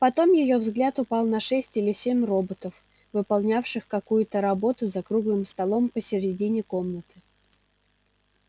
потом её взгляд упал на шесть или семь роботов выполнявших какую-то работу за круглым столом посередине комнаты